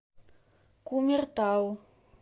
кумертау